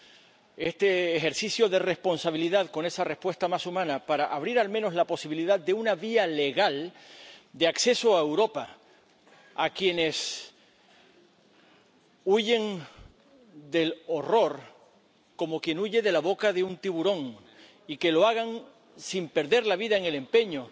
Se trata de un ejercicio de responsabilidad, con una respuesta más humana para abrir al menos la posibilidad de una vía legal de acceso a Europa a quienes huyen del horror —como quien huye de la boca de un tiburón—, y que lo hagan sin perder la vida en el empeño